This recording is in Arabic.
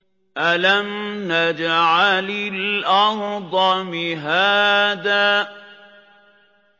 أَلَمْ نَجْعَلِ الْأَرْضَ مِهَادًا